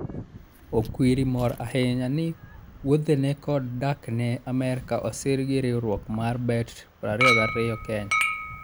Okwiri mor ahinya ni wuodhene kod dakne Amerka osir gi riwruok mar Bet22 Kenya.